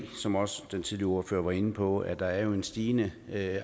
som også den tidligere ordfører var inde på at der er en stigende